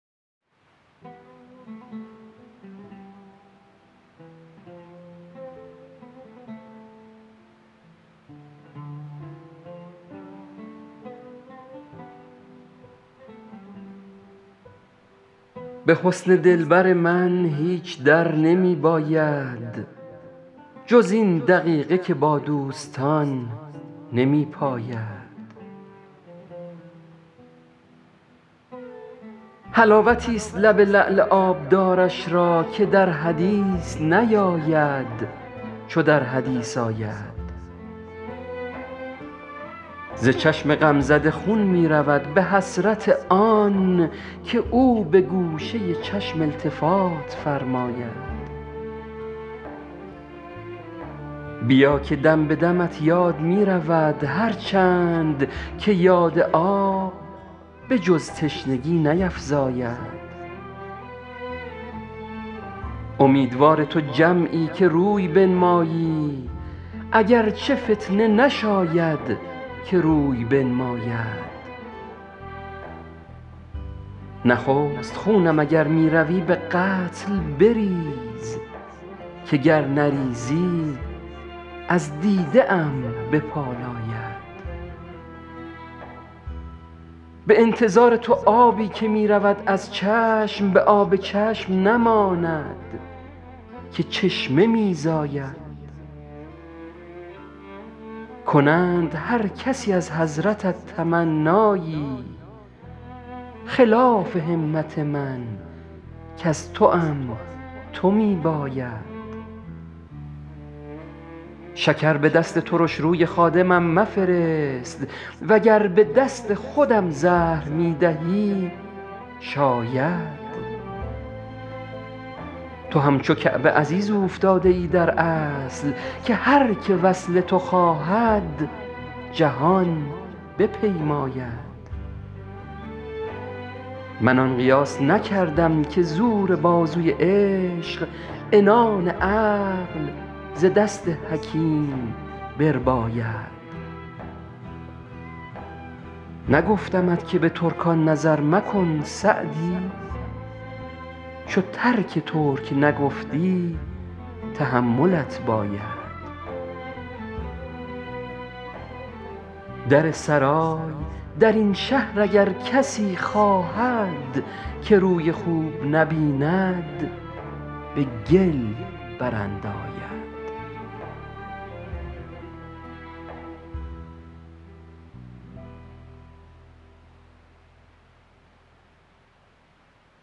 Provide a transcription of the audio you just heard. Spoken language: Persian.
به حسن دلبر من هیچ در نمی باید جز این دقیقه که با دوستان نمی پاید حلاوتیست لب لعل آبدارش را که در حدیث نیاید چو در حدیث آید ز چشم غمزده خون می رود به حسرت آن که او به گوشه چشم التفات فرماید بیا که دم به دمت یاد می رود هر چند که یاد آب به جز تشنگی نیفزاید امیدوار تو جمعی که روی بنمایی اگر چه فتنه نشاید که روی بنماید نخست خونم اگر می روی به قتل بریز که گر نریزی از دیده ام بپالاید به انتظار تو آبی که می رود از چشم به آب چشم نماند که چشمه می زاید کنند هر کسی از حضرتت تمنایی خلاف همت من کز توام تو می باید شکر به دست ترش روی خادمم مفرست و گر به دست خودم زهر می دهی شاید تو همچو کعبه عزیز اوفتاده ای در اصل که هر که وصل تو خواهد جهان بپیماید من آن قیاس نکردم که زور بازوی عشق عنان عقل ز دست حکیم برباید نگفتمت که به ترکان نظر مکن سعدی چو ترک ترک نگفتی تحملت باید در سرای در این شهر اگر کسی خواهد که روی خوب نبیند به گل برانداید